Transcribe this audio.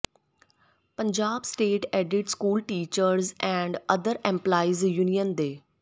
Punjab state aided school teachers and other employees union ਦੇ